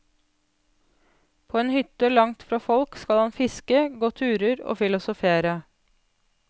På en hytte langt fra folk skal han fiske, gå turer og filosofere.